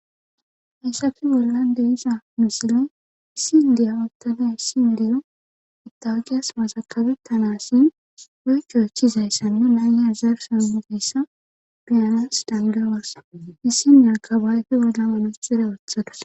Hayssappe mollande iza musile issindiya oottane ssindiyo itaqiyas masakabettanassin weykko echizayssan nu naayya zarusammuzayssa biyanas dangalasa issinne akabaayfi wolla aluxire ooththadas.